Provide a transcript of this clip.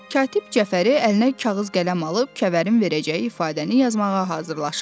Katib Cəfəri əlinə kağız qələm alıb Kəvərin verəcəyi ifadəni yazmağa hazırlaşırdı.